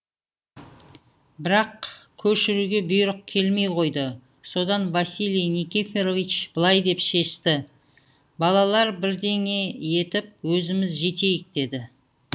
бірақ көшіруге бұйрық келмей қойды содан василий никифорович былай деп шешті балалар бірдеңе етіп өзіміз жетейік деді